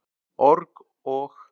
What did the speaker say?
org- og.